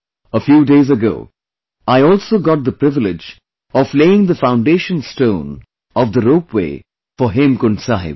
A few days ago I also got the privilege of laying the foundation stone of the ropeway for Hemkund Sahib